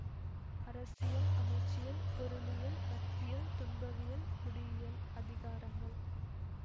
அரசியல் அமைச்சியல் பொருளியல் நட்பியல் துன்பவியல் குடியியல் அதிகாரங்கள்